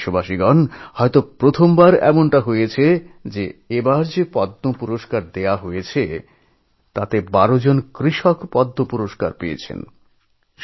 আমার প্রিয় দেশবাসী এই বোধহয় প্রথমবার এমন হল যে এই বছর যাঁদের পদ্ম পুরস্কার দেওয়া হয়েছে তাঁদের মধ্যে ১২ জন কৃষক রয়েছেন